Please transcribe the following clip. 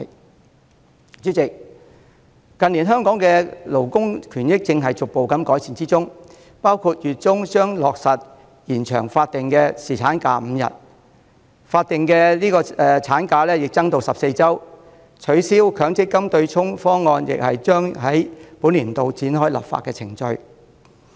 代理主席，近年香港的勞工權益正在逐步改善，包括月中將落實延長法定侍產假至5天、法定產假增至14周、取消強制性公積金對沖方案亦將於本年度展開立法程序。